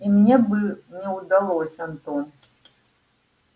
и мне бы не удалось антон